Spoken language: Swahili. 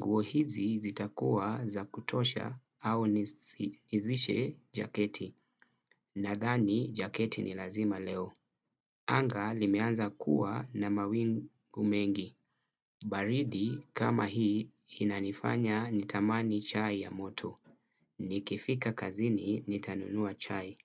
Nguo hizi zitakuwa za kutosha au nizishe jaketi. Nadhani, jaketi ni lazima leo. Anga limeanza kuwa na mawingu mengi. Baridi kama hii inanifanya nitamani chai ya moto. Nikifika kazini nitanunua chai.